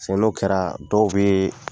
N'o kɛra dɔw bɛ